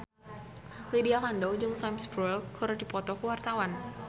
Lydia Kandou jeung Sam Spruell keur dipoto ku wartawan